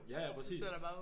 Ja ja præcis